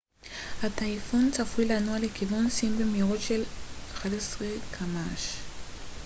הטייפון צפוי לנוע לכיוון סין במהירות של 11 קמ ש